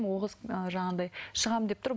ол қыз ыыы жаңағыдай шығамын деп тұр